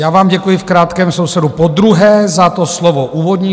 Já vám děkuji, v krátkém sledu podruhé, za to slovo úvodní.